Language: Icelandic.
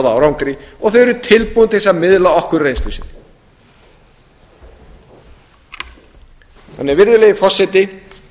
árangri og þau eru tilbúin til þess að miðla okkur af reynslu sinni virðulegi forseti